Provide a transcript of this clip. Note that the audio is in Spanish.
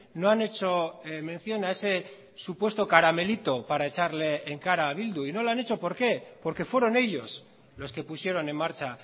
no han hecho mención a ese supuesto caramelito para echarle en cara a bildu y no lo han hecho por qué porque fueron ellos los que pusieron en marcha